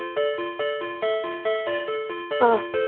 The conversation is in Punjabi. ਆ